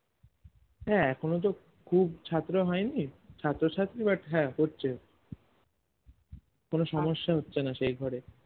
হ্যাঁ এখনো তো খুব ছাত্র হয়নি ছাত্র ছাত্রী but হ্যাঁ হচ্ছে কোনো সমস্যা হচ্ছেনা সেই হিসাবে